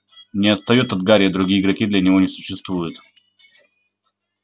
не отстаёт от гарри другие игроки для него не существуют